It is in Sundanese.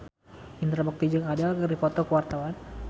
Indra Bekti jeung Adele keur dipoto ku wartawan